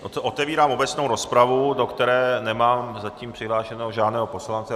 Otevírám obecnou rozpravu, do které nemám zatím přihlášeného žádného poslance.